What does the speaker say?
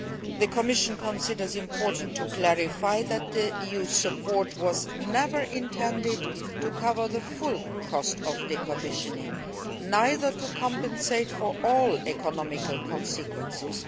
The Commission considers it important to clarify that EU support was never intended to cover the full cost of decommissioning, nor to compensate for all the economic consequences.